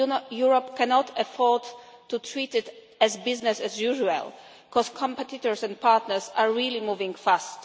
Europe cannot afford to treat it as business as usual' because competitors and partners are really moving fast.